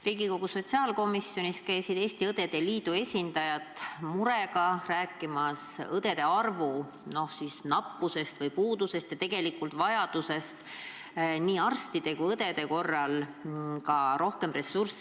Riigikogu sotsiaalkomisjonis käisid Eesti Õdede Liidu esindajad murega rääkimas õdede arvu nappusest ja tegelikult vajadusest saada nii arstide kui ka õdede koolituseks rohkem ressurssi.